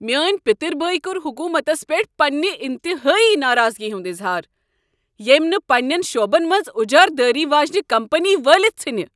میٛٲنۍ پتٕرۍ بٲے کوٚر حکومتس پیٹھ پنٛنہ انتہٲیی ناراضگی ہنٛد اظہار ییٚمۍ نہٕ پنٛنٮ۪ن شعبن منٛز اجارٕدٲری واجنہ كمپٔنیہ وٲلتھ ژھٕنہِ۔